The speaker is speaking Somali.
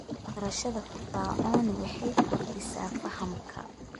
Barashada firfircooni waxay kordhisaa fahamka.